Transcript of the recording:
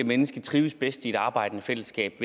menneske trives bedst i et arbejdende fællesskab